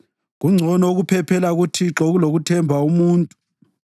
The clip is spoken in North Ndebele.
Kungcono ukuphephela kuThixo kulokuthemba umuntu.